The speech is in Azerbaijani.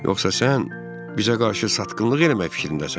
Yoxsa sən bizə qarşı satqınlıq eləmək fikrindəsən?